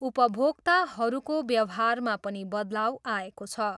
उपभोक्ताहरूको व्यवहारमा पनि बदलाउ आएको छ।